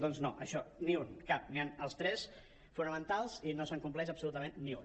doncs no això ni un cap hi han els tres fonamentals i no se’n compleix absolutament ni un